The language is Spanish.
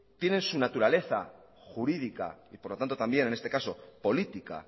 tienen su naturaleza jurídica y por lo tanto también en este caso política